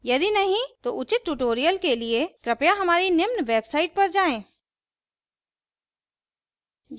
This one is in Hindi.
यदि नहीं तो उचित tutorials के लिए कृपया हमारी निम्न website पर जाएँ